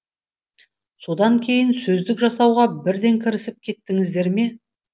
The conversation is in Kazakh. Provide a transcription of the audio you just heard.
содан кейін сөздік жасауға бірден кірісіп кеттіңіздер ме